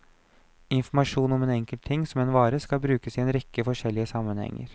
Informasjon om en enkelt ting, som en vare, skal brukes i en rekke forskjellige sammenhenger.